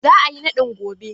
Za a yi naɗin gobe?.